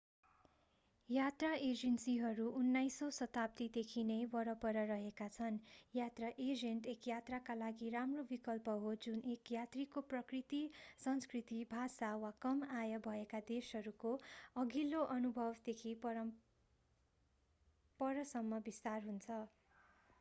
यात्रा एजेन्सीहरू 19 औं शताब्दी देखि नै वरपर रहेका छन् यात्रा एजेन्ट एक यात्राका लागि राम्रो विकल्प हो जुन एक यात्रीको प्रकृति संस्कृति भाषा वा कम आय भएका देशहरूको अघिल्लो अनुभवदेखि परसम्म विस्तार हुन्छ